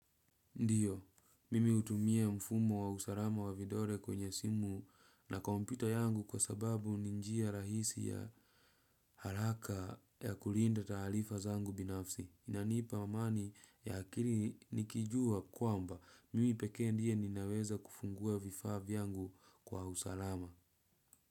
Ndiyo, mimi hutumia mfumo wa usalama wa vidole kwenye simu na kompyuta yangu kwa sababu ni njia rahisi na ya haraka ya kulinda taarifa zangu binafsi. Inanipa amani ya akili nikijua kwamba mimi pekee ndiye ninaweza kufungua vifaa vyangu kwa usalama.